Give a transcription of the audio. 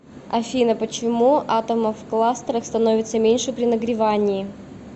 афина почему атомов в кластерах становится меньше при нагревании